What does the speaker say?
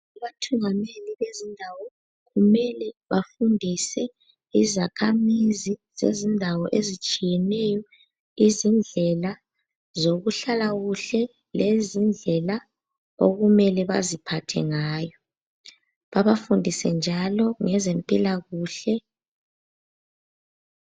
Abathungameli bezindawo kumele bafundise izakhamizi zezindawo ezitshiyeneyo izindlela zokuhlala kuhle lezindlela okumele baziphathe ngayo. Babafundise njalo ngezempilakuhle.